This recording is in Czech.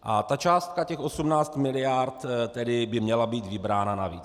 A ta částka těch 18 mld. tedy by měla být vybrána navíc.